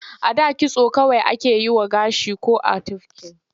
A da kitso kawai ake yi wa gashi ko a tufke shi.